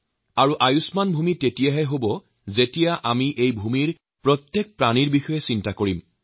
আৰু আয়ুষ্মাণ ভূমি তেতিয়াহে সম্ভৱ যেতিয়া আমি এই ভূমিত বসবাস কৰা প্ৰতিটো প্ৰাণীৰ প্ৰতি সজাগ হম